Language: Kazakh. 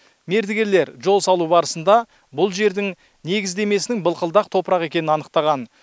мердігерлер жол салу барысында бұл жердің негіздемесінің былқылдақ топырақ екенін анықтаған